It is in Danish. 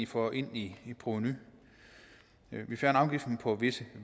får ind i provenu vi fjerner afgiften på visse